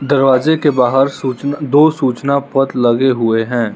दरवाजे के बाहार सूचना दो सूचना पत्र लगे हुए है।